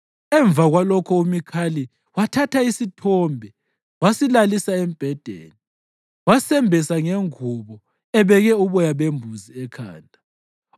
Emva kwalokho uMikhali wathatha isithombe wasilalisa embhedeni, wasembesa ngengubo ebeke uboya bembuzi ekhanda.